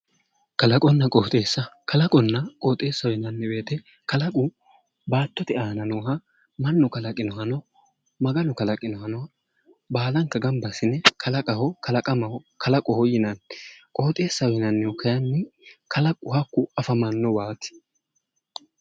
Kalaqonna qoxxeessa, kalaqonna qoxxeessaho yinnanni woyte kalaqu baattote aana nooha mannu kalaqinohanno Maganu kalaqinohanno baallanka gamba assine kalaqammaho kalaqaho yinnanni, qoxxeessaho yinnannihu kayinni kalaqu hakku afamanowati